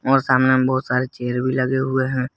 और सामने में बहुत सारे चेयर भी लगे हुए हैं।